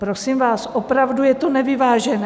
Prosím vás, opravdu je to nevyvážené.